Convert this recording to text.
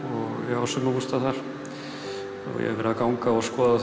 ég á sumarbústað þar og hef verið að ganga og skoða